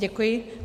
Děkuji.